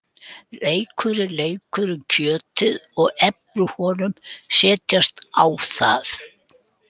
Reykurinn leikur um kjötið og efni úr honum setjast á það.